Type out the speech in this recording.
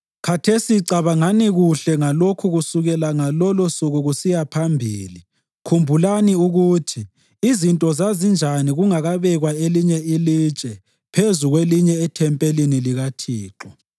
Khathesi cabangani kuhle ngalokhu kusukela ngalolusuku kusiya phambili, khumbulani ukuthi izinto zazinjani kungakabekwa elinye ilitshe phezu kwelinye ethempelini likaThixo.